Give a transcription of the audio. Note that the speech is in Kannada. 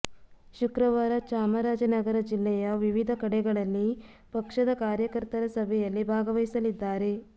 ಶುಕ್ರವಾರ ಚಾಮರಾಜನಗರ ಜಿಲ್ಲೆಯ ವಿವಿಧ ಕಡೆಗಳಲ್ಲಿ ಪಕ್ಷದ ಕಾರ್ಯಕರ್ತರ ಸಭೆಯಲ್ಲಿ ಭಾಗವಹಿಸಲಿದ್ದಾರೆ